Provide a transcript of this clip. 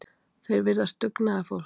Þeir virðast dugnaðarfólk